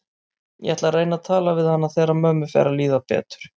Ég ætla að reyna að tala við hana þegar mömmu fer að líða betur.